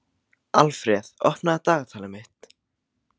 Alfreð, opnaðu dagatalið mitt.